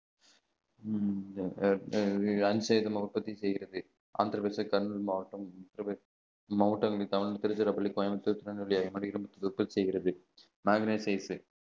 உற்பத்தி செய்யறது மாவட்டம் அந்திரப்ரதேஷ் மாவட்டம் திருச்சிராப்பள்ளி கோயம்புத்தூர் உற்பத்தி செய்கிறது